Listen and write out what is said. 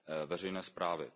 veřejné zprávy.